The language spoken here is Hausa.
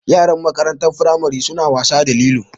Yaran makarantar firamari su na wasa da lilo